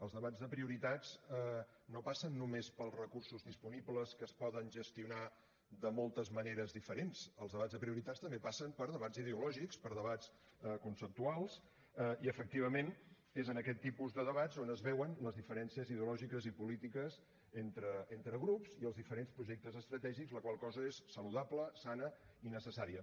els debats de prioritats no passen només pels recursos disponibles que es poden gestionar de moltes maneres diferents els debats de prioritats també passen per debats ideològics per debats conceptuals i efectivament és en aquest tipus de debats on es veuen les diferències ideològiques i polítiques entre grups i els diferents projectes estratègics la qual cosa és saludable sana i necessària